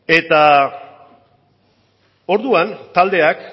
eta orduan taldeak